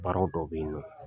Barow dɔ be yen nɔ